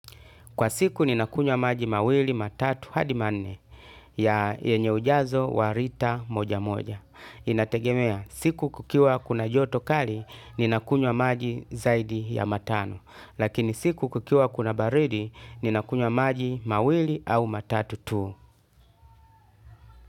Kwa siku ninakunywa maji mawili matatu hadi manne yenye ujazo wa lita moja moja. Inategemea siku kukiwa kuna joto kali ninakunywa maji zaidi ya matano. Lakini siku kukiwa kuna baridi ninakunwa maji mawili au matatu tu.